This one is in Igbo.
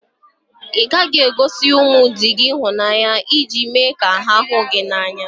Ị ghaghị igosi ụmụ di gị ịhụnanya iji me ka ha hụ gị n'anya